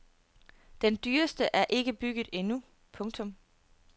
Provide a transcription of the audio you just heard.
Den dyreste er ikke bygget endnu. punktum